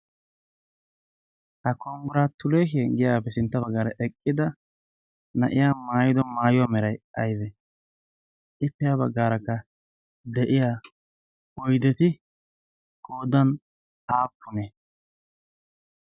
Ha konggiraatuleeshen giyagaappe sinttan baggaara eqqida na'iya maayido maayuwa merayi aybee? Ippe ha baggaarakka de'iya oydeti qoodan aappunee?